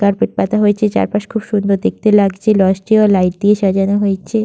Carpet পাতা হয়েছে চারপাশ খুব সুন্দর দেখতে লাগছে লজ -টিও লাইট দিয়ে সাজানো হয়েছে।